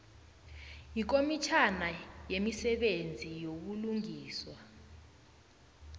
yikomitjhana yemisebenzi yobulungiswa